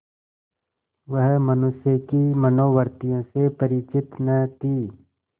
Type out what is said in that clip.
वह मनुष्य की मनोवृत्तियों से परिचित न थी